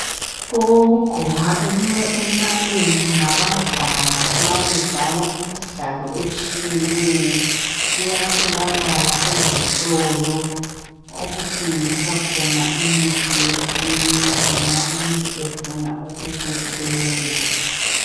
Okokugqoka embaleni ngabadlali nxa bedlala imidlalo etshiyeneyo. Kuyatholakala ezitolo okuthengiswa khona imithi yesintu nxa umuntu efuna ukukuthenga.